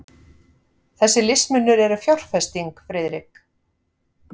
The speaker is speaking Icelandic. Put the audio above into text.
Þessir listmunir eru fjárfesting, Friðrik.